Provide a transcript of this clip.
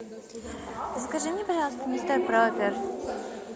закажи мне пожалуйста мистер проппер